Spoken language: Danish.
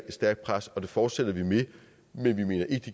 et stærkt pres og det fortsætter vi med men vi mener ikke